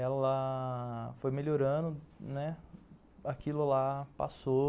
Ela foi melhorando, né, aquilo lá passou.